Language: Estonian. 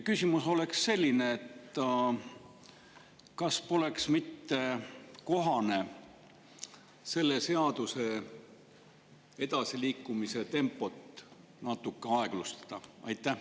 Küsimus on selline: kas poleks mitte kohane selle seadusega edasiliikumise tempot natuke aeglustada?